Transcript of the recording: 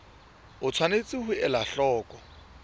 o tshwanetse ho ela hloko